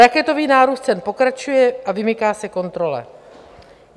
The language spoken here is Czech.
Raketový nárůst cen pokračuje a vymyká se kontrole.